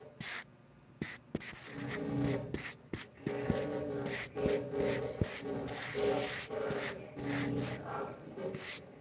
Hann sá henni bregða fyrir en svo hvarf hún aftur.